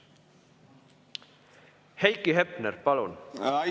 Heiki Hepner, palun!